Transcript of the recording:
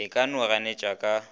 e ka no ganetšwa ka